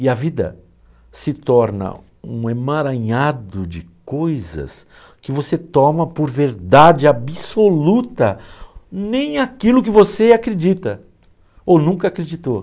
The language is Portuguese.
E a vida se torna um emaranhado de coisas que você toma por verdade absoluta, nem aquilo que você acredita ou nunca acreditou.